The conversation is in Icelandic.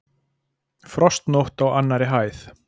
Frostnótt á annarri hæð